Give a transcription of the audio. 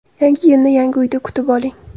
Yangi yilni yangi uyda kutib oling!.